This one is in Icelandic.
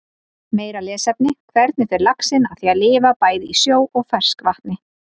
Meira lesefni: Hvernig fer laxinn að því að lifa bæði í sjó og ferskvatni?